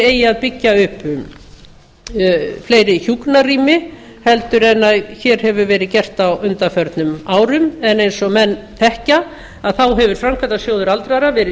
eigi að byggja upp fleiri hjúkrunarrými heldur en hér hefur verið gert á undanförnum árum en eins og menn þekkja hefur framkvæmdasjóður verið